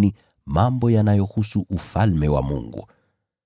katika mambo ya Ufalme wa Mungu.